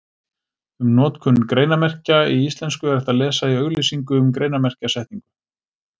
Um notkun greinarmerkja í íslensku er hægt að lesa í auglýsingu um greinarmerkjasetningu.